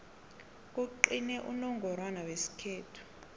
kugcine unongorwana wesikhethu